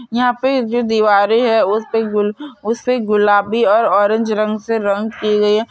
यहां पे जो दिवारे है उस पे गु गुलाबी और ऑरेंज रंग से रंग की गई है।